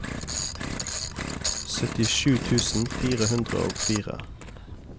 syttisju tusen fire hundre og fire